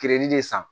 de san